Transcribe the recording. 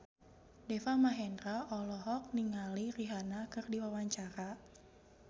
Deva Mahendra olohok ningali Rihanna keur diwawancara